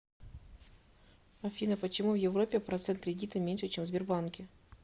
афина почему в европе процент кредита меньше чем в сбербанке